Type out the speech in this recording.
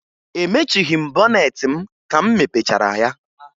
Emechighi m bọneetị m ka m mepechara ya